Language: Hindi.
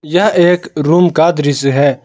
यह एक रूम का दृश्य है।